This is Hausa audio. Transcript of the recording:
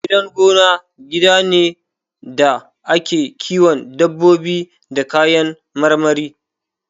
Gidan gona gida ne da ake kiwon dabbobi da kayan marmari